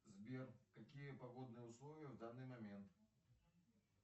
сбер какие погодные условия в данный момент